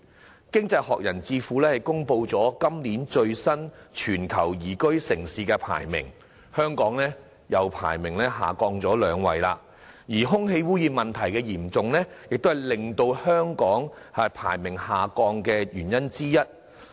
在經濟學人智庫公布的今年最新全球宜居城市排名中，香港的排名又下降了兩位，而空氣污染問題嚴重亦是令香港排名下降的原因之一。